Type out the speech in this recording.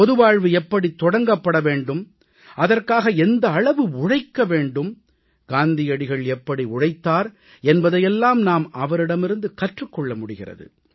பொதுவாழ்வு எப்படித் தொடங்கப்பட வேண்டும் அதற்காக எந்த அளவு உழைக்க வேண்டும் காந்தியடிகள் எப்படி உழைத்தார் என்பதையெல்லாம் நாம் அவரிடமிருந்து கற்றுக் கொள்ள முடிகிறது